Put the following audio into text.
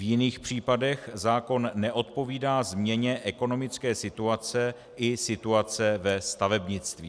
V jiných případech zákon neodpovídá změně ekonomické situace i situace ve stavebnictví.